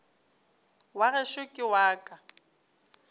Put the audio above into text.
wa gešo ke wa ka